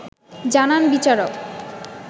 জানান বিচারক